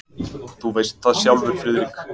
Þú veist það sjálfur, Friðrik.